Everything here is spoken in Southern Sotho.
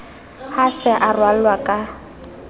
ha se a ralwa ka